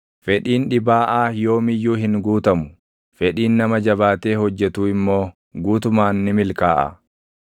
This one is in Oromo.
Fedhiin dhibaaʼaa yoom iyyuu hin guutamu; fedhiin nama jabaatee hojjetuu immoo guutumaan ni milkaaʼa.